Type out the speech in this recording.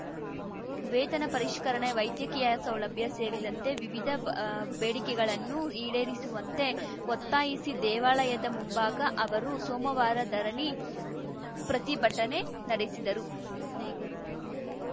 ವೇತನ ಪರಿಷ್ಕರಣೆ ವೈದ್ಯಕೀಯ ಸೌಲಭ್ಯ ಸೇರಿದಂತೆ ವಿವಿಧ ಬೇಡಿಕೆಗಳನ್ನು ಈಡೇರಿಸುವಂತೆ ಒತ್ತಾಯಿಸಿ ದೇವಾಲಯದ ಮುಂಭಾಗ ಅವರು ಸೋಮವಾರ ಧರಣಿ ಪ್ರತಿಭಟನೆ ನಡೆಸಿದರು